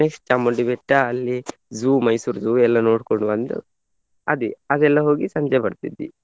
Next Chamundi Betta ಅಲ್ಲಿ zoo ಮೈಸೂರದ್ದು ಎಲ್ಲ ನೋಡ್ಕೊಂಡ್ ಬಂದು ಅದೇ ಅದೆಲ್ಲ ಹೋಗಿ ಸಂಜೆ ಬರ್ತಿದ್ವಿ.